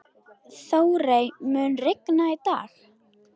Þórey, mun rigna í dag?